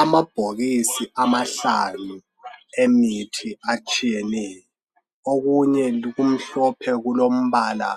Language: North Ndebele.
Amabhokisi amahlanu emithi atshiyeneyo. Okunye kumhlophe kulombala